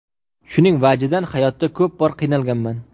Shuning vajidan hayotda ko‘p bor qiynalganman.